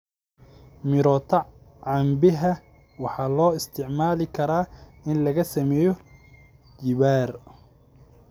Mirota cambeha waxaa loo isticmaali karaa in laga sameeyo jibbaar.